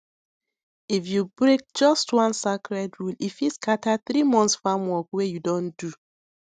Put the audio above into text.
if you break just one sacred rule e fit scatter three months farm work wey you don do